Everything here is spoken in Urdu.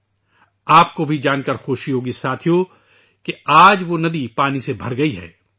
دوستو ، آپ کو یہ جان کر خوشی ہوگی کہ آج وہ ندی پانی سے بھر گئی ہے